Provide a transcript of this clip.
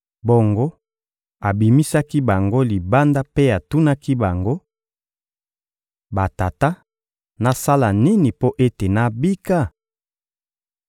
Bongo abimisaki bango libanda mpe atunaki bango: — Batata, nasala nini mpo ete nabika?